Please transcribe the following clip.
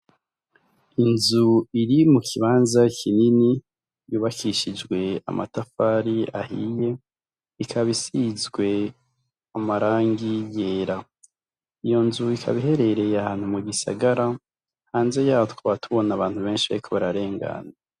Inzu iri mu kibanza kinini yubakishijwe amatafari ahiye ikabisizwe amarangi yera iyo nzu ikaba iherereye ahantu mu gisagara hanze yaho tukaba tubona abantu benshi bariko bararengana.